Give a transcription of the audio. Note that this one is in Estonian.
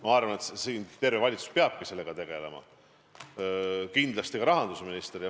Ma arvan, et terve valitsus peabki sellega tegelema, kindlasti ka rahandusminister.